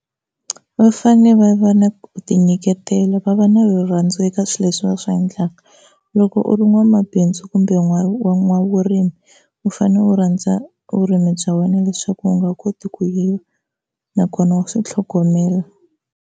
Va fanele va va na ku tinyiketela va va na rirhandzu eka swilo leswi va swi endlaka loko u ri n'wamabindzu kumbe wa n'wavurimi u fanele u rhandza vurimi bya wena leswaku u nga koti ku yiva nakona wa swi tlhogomela.